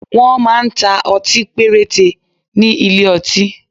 Wọ́n máa ń ta ọtí péréte ní ilé ọtí